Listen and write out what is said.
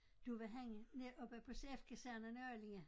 Det var henne næ oppe på CF-kasernen i Allinge